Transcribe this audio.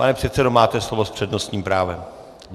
Pane předsedo, máte slovo s přednostním právem.